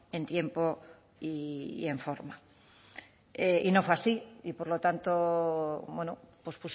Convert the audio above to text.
en tiempo y en forma y no fue así y por lo tanto pues